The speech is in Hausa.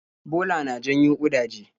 Bola na janyo ƙudaje.